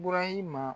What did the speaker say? Burahima